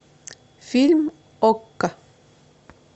фильм окко